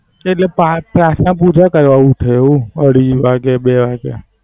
એટલે પાર્થ પ્રાર્થના પૂજા કરવાયુ થયું અઢી વાગે બે વાગે.